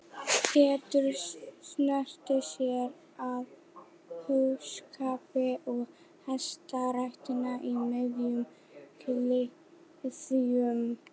Pétur sneri sér að búskap og hestarækt í miðjum klíðum.